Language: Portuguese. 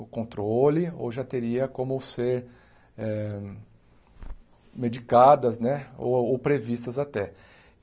o controle ou já teria como ser eh medicadas né ou ou previstas até.